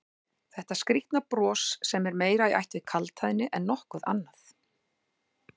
Þetta skrýtna bros sem er meira í ætt við kaldhæðni en nokkuð annað?